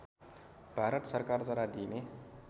भारत सरकारद्वारा दिइने